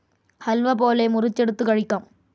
ഹൽവ പോലെ, മുറിച്ചെടുത്ത് കഴിക്കാം.